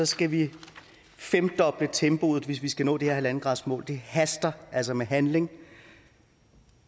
skal vi femdoble tempoet hvis vi skal nå det her en gradersmål det haster altså med handling